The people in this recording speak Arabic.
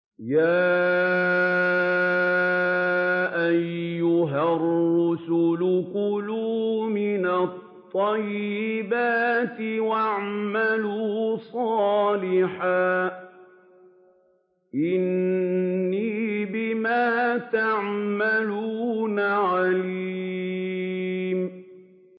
يَا أَيُّهَا الرُّسُلُ كُلُوا مِنَ الطَّيِّبَاتِ وَاعْمَلُوا صَالِحًا ۖ إِنِّي بِمَا تَعْمَلُونَ عَلِيمٌ